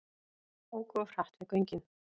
Óku of hratt við göngin